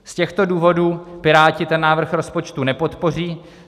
Z těchto důvodů Piráti ten návrh rozpočtu nepodpoří.